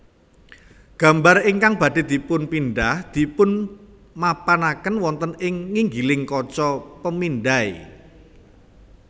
Gambar ingkang badhé dipunpindhah dipunmapanaken wonten ing nginggiling kaca pemindai